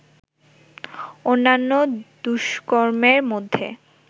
অন্যান্য দুষ্কর্মের মধ্যে